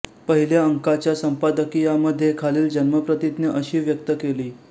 पहिल्या अंकाच्या संपादकीयामध्ये खालील जन्मप्रतिज्ञा अशी व्यक्त केली